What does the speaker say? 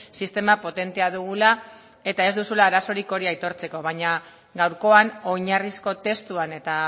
sistema potentea dugula eta ez duzula arazorik hori aitortzeko baina gaurkoan oinarrizko testuan eta